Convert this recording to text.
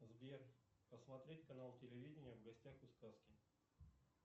сбер посмотреть канал телевидения в гостях у сказки